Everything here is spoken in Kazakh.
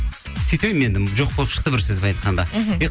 сөйтіп едім енді жоқ болып шықты бір сөзбен айтқанда мхм